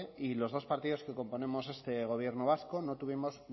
y los dos partidos que componemos este gobierno vasco no tuvimos